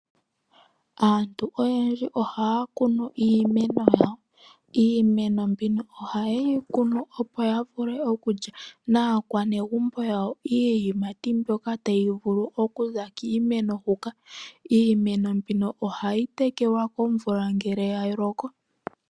Aantu oyendji ohaya kunu iimeno yawo. Iimeno mbino ohaye yi kunu opo ya vule okulya naakwanegumbo lyawo iiyimati mbyoka tayi vulu oku za kiimeno hoka. Iimeno mbika ohayi tekelwa komvula ngele yaloko.